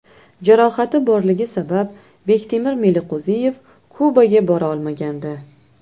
Jarohati borligi sabab Bektemir Meliqo‘ziyev Kubaga bora olmagandi.